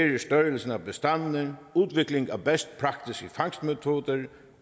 størrelsen af bestandene udviklingen af best practice i fangstmetoder